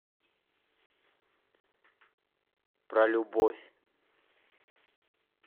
про любовь